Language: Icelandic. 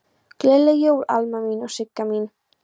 Gleðileg jól Alma mín og Sigga mín.